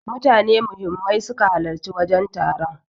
Mutane muhimman suka halarci wajen taron.